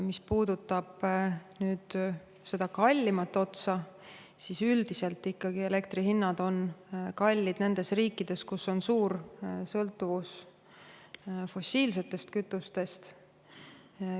Mis puudutab seda kallimat otsa, siis üldiselt ikkagi elektri hinnad on kallid nendes riikides, kus on suur sõltuvus fossiilsetest kütustest.